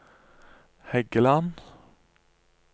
Hægeland